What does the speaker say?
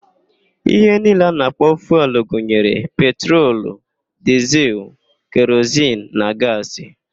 Ihe niile a na-akpọ fuelụ gụnyere: petrolu, dịzịl, kerozin na gaasị.